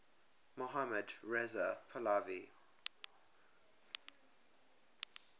mohammad reza pahlavi